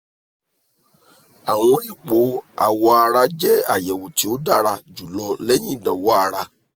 awọn ipo awọ ara jẹ ayẹwo ti o dara julọ lẹhin idanwo ara